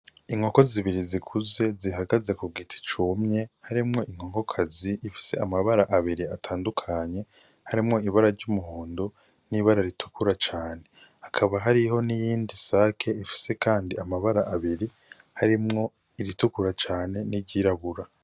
Inkoko zibiri zikuze zihagaze ku giti cumye harimwo inkokokazi ifise amabara abiri atandukanye harimwo ibara ry'umuhondo n'ibara ritukura cane hakaba hariho n'iyindi sake ifise, kandi amabara abiri harimwo iritukura cane n'iryirabura.